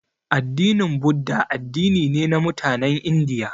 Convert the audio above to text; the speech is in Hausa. Addinin budda addini ne na mutanen indiya